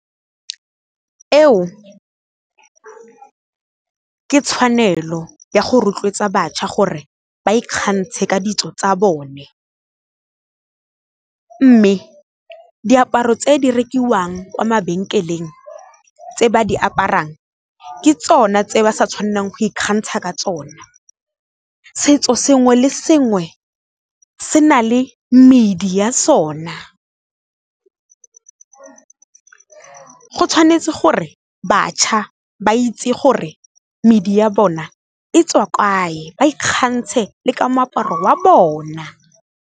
Eo, ke tshwanelo ya go rotloetsa bašwa gore ba ikgantshe ka ditso tsa bone, mme diaparo tse di rekiwang kwa mabenkeleng tse ba di aparang ke tsona tse ba sa tshwanelang go ikgantsha ka tsona. Setso sengwe le sengwe se na le medi ya sona, go tshwanetse gore bašwa ba itse gore medi ya bona e tswa kae ba ikgantshe le ka moaparo wa bona.